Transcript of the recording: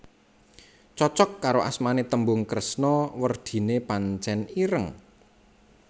Cocok karo asmane tembung kresna werdine pancen ireng